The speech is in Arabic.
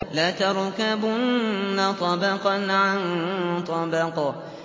لَتَرْكَبُنَّ طَبَقًا عَن طَبَقٍ